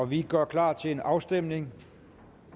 vi gør klar til en afstemning